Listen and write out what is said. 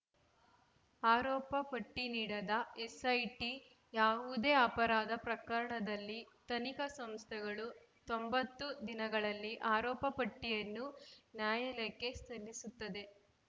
ಆರೋಪ ಪಟ್ಟಿನೀಡದ ಎಸ್‌ಐಟಿ ಯಾವುದೇ ಅಪರಾಧ ಪ್ರಕರಣದಲ್ಲಿ ತನಿಖಾ ಸಂಸ್ಥೆಗಳು ತೊಂಬತ್ತು ದಿನಗಳಲ್ಲಿ ಆರೋಪ ಪಟ್ಟಿಯನ್ನು ನ್ಯಾಯಾಲಯಕ್ಕೆ ಸಲ್ಲಿಸುತ್ತದೆ